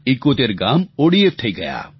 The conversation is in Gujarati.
71 ગામ ઓડીએફ થઈ ગયા